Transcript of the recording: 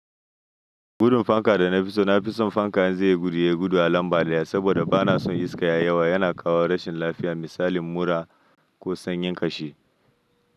Gudun fanka da na fi so. Na fi son fanka inzai yi gudu, ya gudu a lambada daya, saboda ba na son iska ya yawa. Yana kawo rashin lafiya misali mura ko sanyin ƙashi.